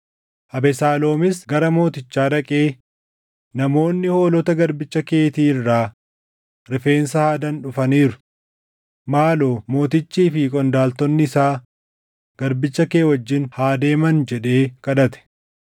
Abesaaloomis gara mootichaa dhaqee, “Namoonni hoolota garbicha keetii irraa rifeensa haadan dhufaniiru. Maaloo mootichii fi qondaaltonni isaa garbicha kee wajjin haa deeman” jedhee kadhate.